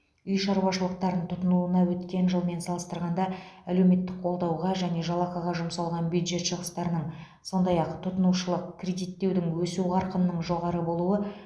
үй шаруашылықтарын тұтынуына өткен жылмен салыстырғанда әлеуметтік қолдауға және жалақыға жұмсалған бюджет шығыстарының сондай ақ тұтынушылық кредиттеудің өсу қарқынының жоғары болуы